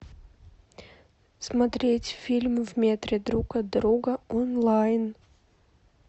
смотреть фильм в метре друг от друга онлайн